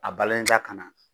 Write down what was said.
A balen t'a kan na.